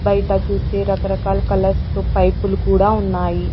బయట చూస్తే రకరకాలు కలర్స్ తో పైపులు కూడా ఉన్నాయి.